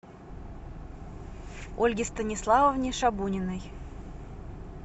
ольге станиславовне шабуниной